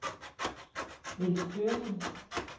Niels Thøgersen